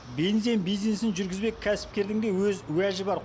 бензин бизнесін жүргізбек кәсіпкердің де өз уәжі бар